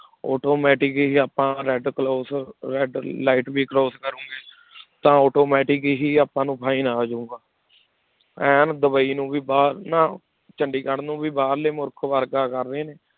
ਉਦੋਂ ਆਪਾਂ red red light ਵੀ cross ਕਰੋਗੇ ਤਾਂ automatic ਹੀ ਆਪਾਂ ਨੂੰ fine ਆ ਜਾਊਗਾ ਐਨ ਡੁਬਈ ਨੂੰ ਵੀ ਬਾਹਰ ਨਾ ਚੰਡੀਗੜ੍ਹ ਨੂੰ ਵੀ ਬਾਹਰਲੇ ਮੁਲਕ ਵਰਗਾ ਕਰ ਰਹੇ ਨੇ।